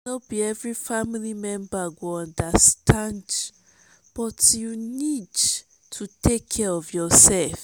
no be every family member go understand but you need to take care of your self.